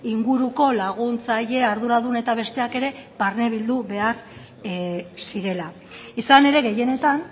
inguruko laguntzaile arduradun eta besteak ere barnebildu behar zirela izan ere gehienetan